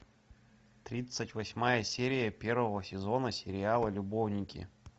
тридцать восьмая серия первого сезона сериала любовники